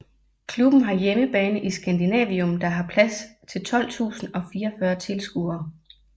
Klubben har hjemmebane i Scandinavium der har plads til 12044 tilskuere